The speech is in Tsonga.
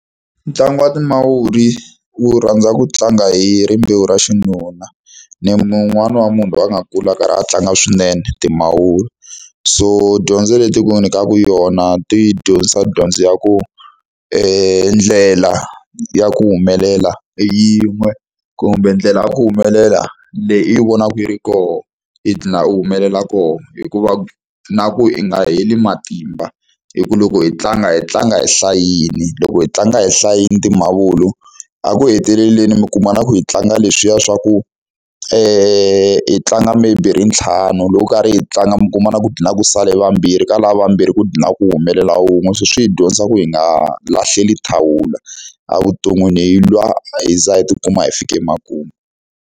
Ntlangu wa timavuri wu rhandza ku tlanga hi rimbewu ra xinuna. Ni un'wani wa munhu loyi a nga kula a karhi a tlanga swinene timavuri. So dyondzo leti ku nyikaka yona, ti dyondzisa dyondzo ya ku ndlela ya ku humelela i yin'we. Kumbe ndlela ya ku humelela, leyi i yi vonaka yi ri kona, i dlhina i humelela kona. Hikuva na ku i nga heli matimba, hikuva loko hi tlanga hi tlanga hi hlayile. Loko hi tlanga hi hlayile timavuri, eku heteleleni mi kuma na ku yi tlanga leswiya swa ku hi tlanga maybe hi ri ntlhanu, loko karhi hi tlanga mi kuma na ku dlhina ku sale vambirhi, ka lava vambirhi ku dlhina ku humelela wun'we. Se swi hi dyondza ku hi nga lahlela thawula evuton'wini, hi lwa hi za hi tikuma hi fika emakumu.